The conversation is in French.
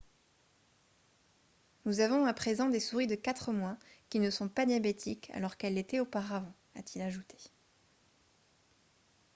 « nous avons à présent des souris de 4 mois qui ne sont pas diabétiques alors qu'elles l'étaient auparavant » a-t-il ajouté